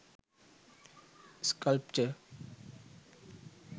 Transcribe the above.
sculpture